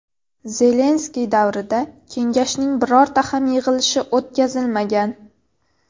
Zelenskiy davrida kengashning birorta ham yig‘ilishi o‘tkazilmagan.